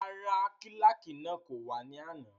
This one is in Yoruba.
Rárá, kílàkì náà kò wá ní àná